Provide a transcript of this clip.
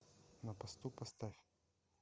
на посту поставь